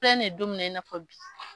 N filɛ nin ye don mina i na fɔ bi.